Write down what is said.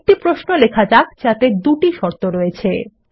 একটি প্রশ্নও লেখা যাক যাতে দুটি শর্ত রয়েছে